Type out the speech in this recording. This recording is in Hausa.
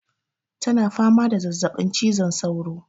Ta na fama da zazzaɓin cizon saura